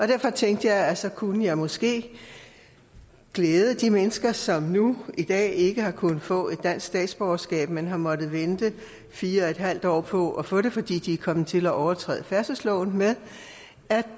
derfor tænkte jeg at så kunne jeg måske glæde de mennesker som nu i dag ikke har kunnet få et dansk statsborgerskab men har måttet vente fire en halv år på at få det fordi de er kommet til at overtræde færdselsloven med at